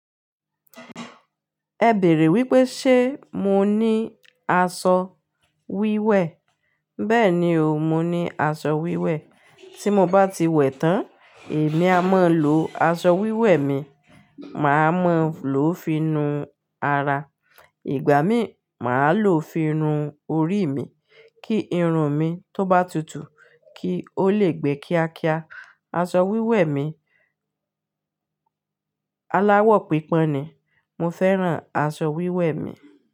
Ẹ bèèrè wípé ṣe mo ní asọ wíwẹ̀? Bẹ́ẹ̀ni o, mo ní aṣọ wíwẹ̀. Tí mo bá ti wẹ̀ tán, èmi a mọn lò aṣọ wíwẹ̀ mi, màá mọ̀ lọ́ finu ara. Ìgbà mí, màá lò ó finu orí mi kí irun mi tó bá tutù kí ó lè gbé kíákíá. Aṣọ wíwẹ̀ mi aláwọ̀ pípọ́n ni. Mo fẹ́ràn aṣọ wíwẹ̀ mi.